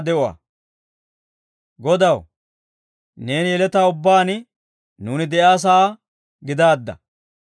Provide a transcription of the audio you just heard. Godaw, neeni yeletaa ubbaan, nuuni de'iyaa sa'aa gidaadda.